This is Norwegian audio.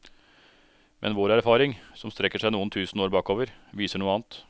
Men vår erfaring, som strekker seg noen tusen år bakover, viser noe annet.